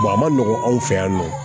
a ma nɔgɔn an fɛ yan nɔ